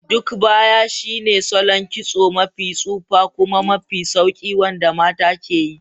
Duk baya shine salon kitso mafi tsufa kuma mafi sauƙi wanda mata ke yi.